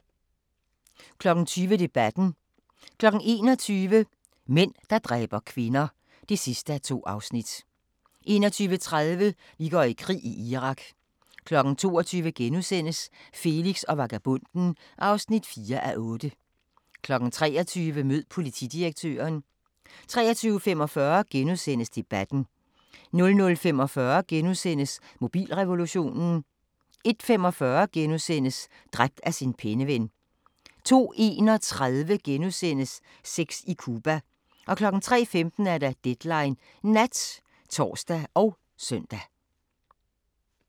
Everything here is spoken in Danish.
20:00: Debatten 21:00: Mænd, der dræber kvinder (2:2) 21:30: Vi går i krig: Irak 22:00: Felix og vagabonden (4:8)* 23:00: Mød politidirektøren 23:45: Debatten * 00:45: Mobilrevolutionen * 01:45: Dræbt af sin penneven * 02:31: Sex i Cuba * 03:15: Deadline Nat (tor og søn)